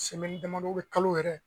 damadɔ kalo yɛrɛ